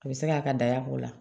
A bɛ se k'a ka day'o la